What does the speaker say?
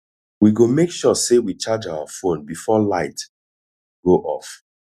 we go make sure sey we charge our fone before light go off